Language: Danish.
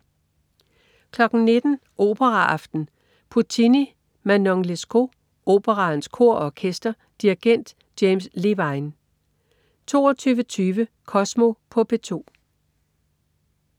19.00 Operaaften. Puccini: Manon Lescaut. Operaens Kor og Orkester. Dirigent: James Levine 22.20 Kosmo på P2